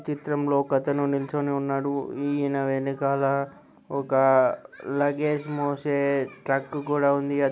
చిత్రంలో ఒక అతను నిలుచొని ఉన్నాడు ఈన వెనకాల ఒక లగేజ్ మోసే ట్రక్ కూడా ఉంది.